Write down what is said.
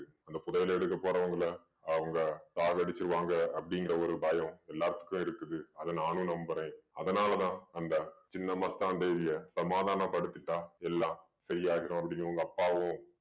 அந்த புதையல எடுக்க போறவங்கள அவங்க சாகடிச்சிருவாங்க அப்படீங்கற ஒரு பயம் எல்லாத்துக்கும் இருக்குது அதை நானும் நம்பறேன். அதனால தான் அந்த சின்னமத்தான் தேவிய சமாதான படுத்திட்டா எல்லாம் சரியாயிடும் அப்படின்னு உங்க அப்பாவும்